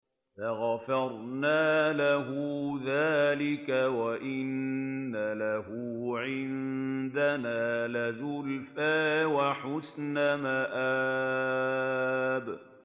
فَغَفَرْنَا لَهُ ذَٰلِكَ ۖ وَإِنَّ لَهُ عِندَنَا لَزُلْفَىٰ وَحُسْنَ مَآبٍ